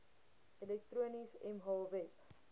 elektronies mh web